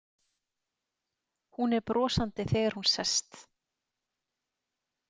Hún er brosandi þegar hún sest.